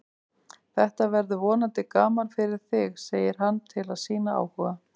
Þetta verður vonandi gaman fyrir þig, segir hann til að sýna áhuga.